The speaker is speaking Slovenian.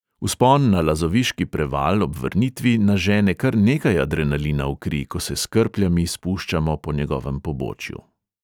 Vzpon na lazoviški preval ob vrnitvi nažene kar nekaj adrenalina v kri, ko se s krpljami spuščamo po njegovem pobočju.